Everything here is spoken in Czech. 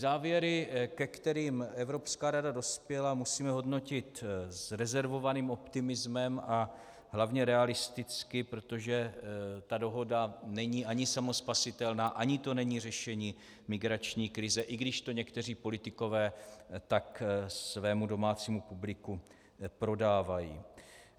Závěry, ke kterým Evropská rada dospěla, musíme hodnotit s rezervovaným optimismem a hlavně realisticky, protože ta dohoda není ani samospasitelná, ani to není řešení migrační krize, i když to někteří politikové tak svému domácímu publiku prodávají.